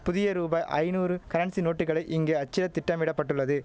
புதிய ரூபாய் ஐநூறு கரன்சி நோட்டுகளை இங்கே அச்சிட திட்டமிட பட்டுள்ளது